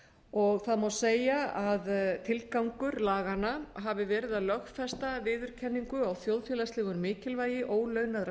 og það má segja að tilgangur laganna hafi verið að lögfesta viðurkenningu á þjóðfélagslegu mikilvægi ólaunaðra